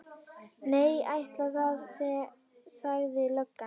Nei, ætli það, sagði löggan.